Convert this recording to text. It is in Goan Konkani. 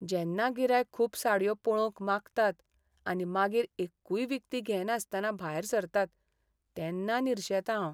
जेन्ना गिरायक खूब साडयो पळोवंक मागतात आनी मागीर एक्कूय विकती घेनासतना भायर सरतात तेन्ना निरशेतां हांव.